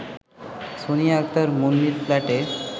সোনিয়া আক্তার মুন্নির ফ্ল্যাটে